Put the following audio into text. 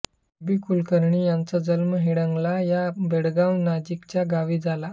के B Kulkarni यांचा जन्म हिंडलगा या बेळगाव नजीकच्या गावी झाला